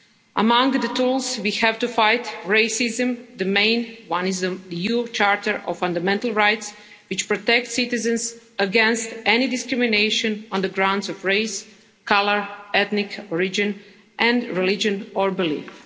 Among the tools we have to fight racism, the main one is the EU Charter of Fundamental Rights, which protects citizens against any discrimination on the grounds of race, colour, ethnic origin and religion or belief.